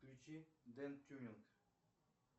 включи ден тюнинг